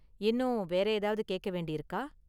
இன்னும் வேற ஏதாவது கேக்க வேண்டி இருக்கா?